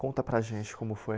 Conta para a gente como foi.